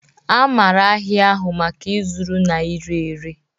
A maara ahịa ahụ maka ịzụrụ na ire ere